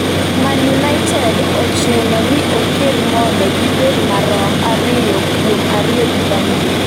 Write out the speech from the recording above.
Man United ochuno ni oked mondo gibed marom ariyo kuom ariyo gi Burnley